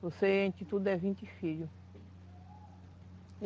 Eu sei que ao todo são vinte filhos.